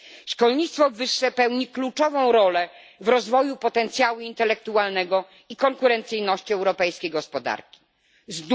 Szkolnictwo wyższe pełni kluczową rolę w rozwoju potencjału intelektualnego i konkurencyjności gospodarki europejskiej.